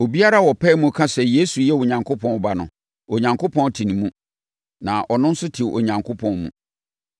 Obiara a ɔpae mu ka sɛ Yesu yɛ Onyankopɔn Ba no, Onyankopɔn te ne mu na ɔno nso te Onyankopɔn mu.